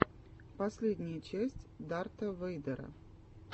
последняя часть дарта вэйдера